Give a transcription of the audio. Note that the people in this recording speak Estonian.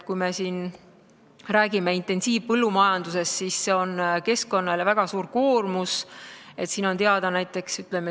Kui me siin räägime intensiivpõllumajandusest, siis see on keskkonnale väga suur koormus.